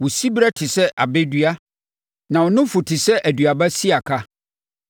Wo siberɛ te sɛ abɛ dua, na wo nufu te sɛ aduaba siaka.